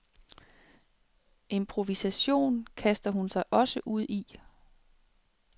Improvisation kaster hun sig også ud i.